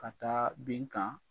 Ka taa bin kan